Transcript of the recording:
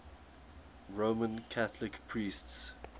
roman catholic priests